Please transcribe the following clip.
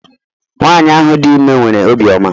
Nwanyị ahụ dị ime nwere obi ọma